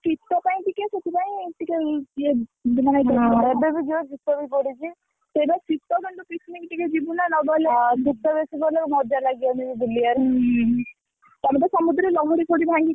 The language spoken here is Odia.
ଶୀତ ପାଇ ଟିକେ ସେଥିପାଇଁ ଟିକେ, ଇଏ ମାନେ ସେଇଟା ଶୀତ କିନ୍ତୁ picnic ଟିକେ ଯିବୁ ନାଉ ନଗଲେ ହୁଁ, ତାପରେ ସମୁଦ୍ରରେ ଲହଡି ପଡି ଭାଙ୍ଗିକି ଆସିଛି।